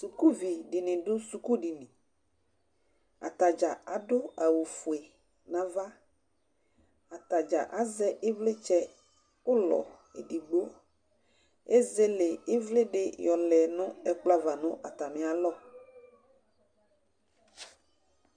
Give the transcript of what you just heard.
Sʊkʊvɩ dɩnɩ dʊ sʊkʊdɩnɩ Atadza adʊ awʊ fʊe nava Atadza azɛ ɩvlɩtsɛ ʊlɔ edigbo Ezele ɩvlɩ dɩ yɔlɛ nɛkplɔ ava nʊ atamɩ alɔ